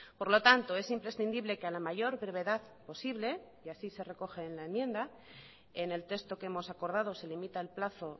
por lo tanto es imprescindible que a la mayor brevedad posible y así se recoge en la enmienda en el texto que hemos acordado se limita el plazo